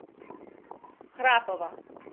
храпова